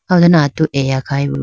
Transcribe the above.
aw done atu eya khayi bo.